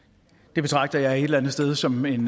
det betragter jeg et eller andet sted som en